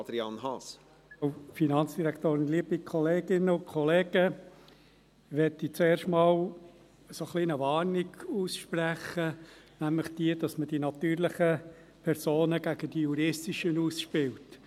Ich möchte zuerst einmal eine kleine Warnung aussprechen, nämlich die, dass man die natürlichen gegen die juristischen Personen ausspielt.